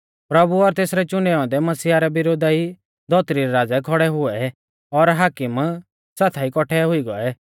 प्रभु और तेसरै चुनै औन्दै मसीहा रै विरोधा ई धौतरी रै राज़ै खौड़ै हुऐ और हाकीम साथाई कौट्ठै हुई गौऐ